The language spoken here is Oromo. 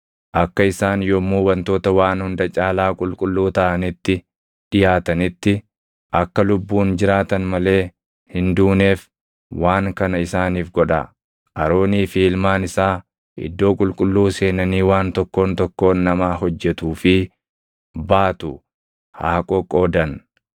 Akka isaan yommuu wantoota waan hunda caalaa qulqulluu taʼanitti dhiʼaatanitti, akka lubbuun jiraatan malee hin duuneef waan kana isaaniif godhaa: Aroonii fi ilmaan isaa iddoo qulqulluu seenanii waan tokkoon tokkoon namaa hojjetuu fi baatu haa qoqqoodan.